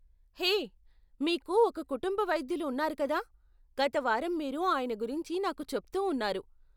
హే, మీకు ఒక కుటుంబ వైద్యులు ఉన్నారు కదా? గత వారం మీరు ఆయన గురించి నాకు చెప్తూ ఉన్నారు.